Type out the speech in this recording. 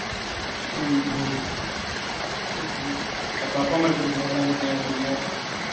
உம் அப்பறம் அப்பா அம்மா எப்படி இருக்காங்க எல்லாம் வீட்டுல தானே இருக்காங்க